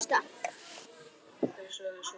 Síðan skolað.